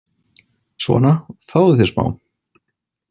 Svona, fáðu þér smá.